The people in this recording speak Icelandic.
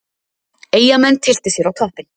Eyjamenn tylltu sér á toppinn